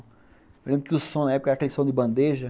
Eu lembro que o som na época era aquele som de bandeja.